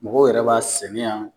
Mɔgɔw yɛrɛ b'a sɛnɛ yan